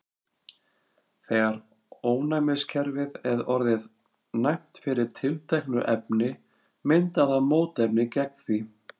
þegar ónæmiskerfið er orðið næmt fyrir tilteknu efni myndar það mótefni gegn því